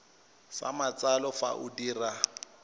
sa matsalo fa o dira